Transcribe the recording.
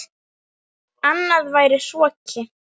Annað væri hroki.